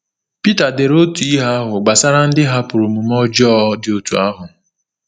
Pita dere otu ihe ahụ gbasara ndị hapụrụ omume ọjọọ dị otú ahụ.